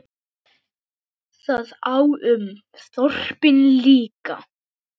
Það á um þorpin líka.